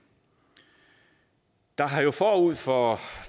der har jo forud for